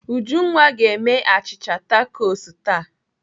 Ujunwa ga-eme a achịcha takos taa.